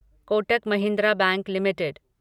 Kotak Mahindra bank limited